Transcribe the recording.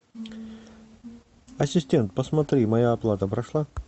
ассистент посмотри моя оплата прошла